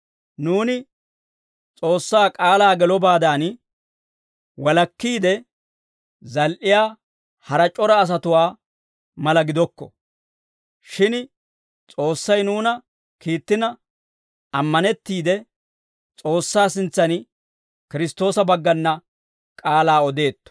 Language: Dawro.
Nuuni S'oossaa k'aalaa gelobaadan, walakkiide zal"iyaa hara c'ora asatuwaa mala gidokko; shin S'oossay nuuna kiittina, ammanettiide S'oossaa sintsan Kiristtoosa baggana k'aalaa odeetto.